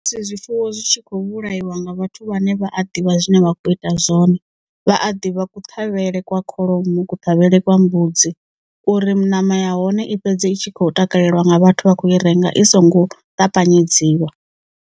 Ndi musi zwifuwo zwi tshi kho vhulaiwa nga vhathu vhane vha a ḓivha zwine vha kho ita zwone, vha a ḓivha kuṱhavhele kwa kholomo kuṱhavhele kwa mbudzi uri ṋama ya hone i fhedze itshi kho takaleliwa nga vhathu vha khou i renga i songo ṱapanyedziwa.